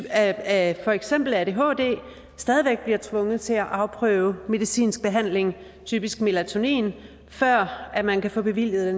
af for eksempel adhd stadig væk bliver tvunget til at afprøve medicinsk behandling typisk melatonin før man kan få bevilget